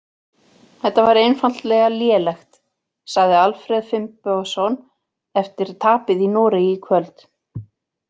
Þetta var einfaldlega lélegt, sagði Alfreð Finnbogason eftir tapið í Noregi í kvöld.